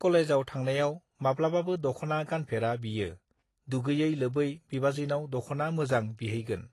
कलेजाव थांनायाव माब्लाबाबो दखना गानफेरा बियो दुगैयै लोबै बिबाजैनाव दखना मोजां बिहैगोन